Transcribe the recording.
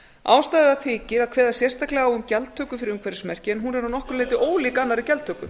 ástæða þykir að kveða sérstaklega á um gjaldtöku fyrir umhverfismerki en hún er að nokkru leyti ólík annarri gjaldtöku